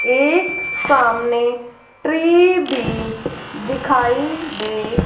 एक सामने ट्री भी दिखाई--